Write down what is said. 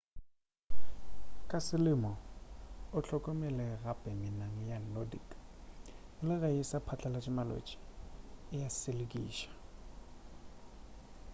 ka selemo o hlokomele gape menang ya nordic le ge e sa phatlalatše malwetši e a selekiša